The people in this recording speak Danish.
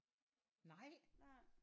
Nej